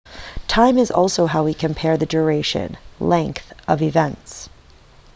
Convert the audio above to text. time is also how we compare the duration length of events